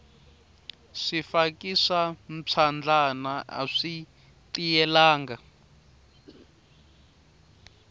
swifaki swa mphyandlana aswi tiyelanga